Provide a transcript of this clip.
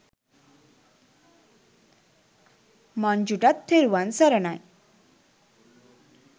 මංජුටත් තෙරුවන් සරණයි.